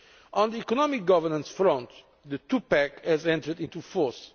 On the economic governance front, the two pack has entered into force.